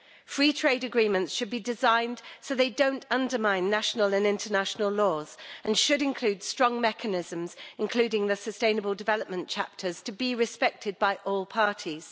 Free trade agreements should be designed so they don't undermine national and international laws and should include strong mechanisms, including the sustainable development chapters, to be respected by all parties.